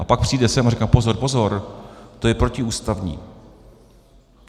A pak přijde sem a říká: Pozor, pozor, to je protiústavní.